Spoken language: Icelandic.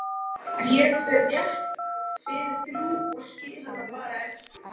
Ég fer rétt fyrir þrjú og skil hann bara eftir